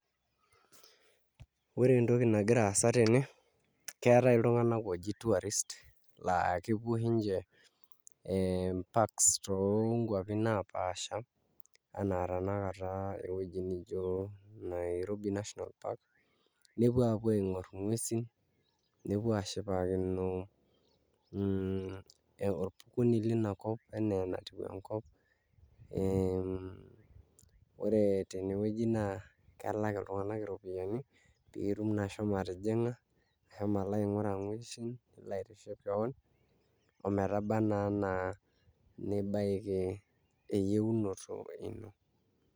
Ore entoki nagira aasa tene, keetai iltunganak ooji tourists ee mparks toonkuapi naapaasha enaa tanakata ewueji nijio Nairobi National park nepuo aapuo aing'orr nguesi nepuo aashipakino orpukunei lina kop enaa enatiu enkop ee ore tenewueji naa kelak iltunganak iropiyiani pee itum naa ashomo atijing'a alo aing'uraa nguesi nilo aitiship keon ometaba naa enaa nibaiki eyieunoto ino.